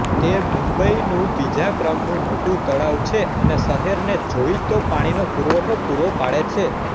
તે મુંબઈનું બીજા ક્રમનું મોટું તળાવ છે અને શહેરને જોઈતો પાણીનો પૂરવઠો પૂરો પાડે છે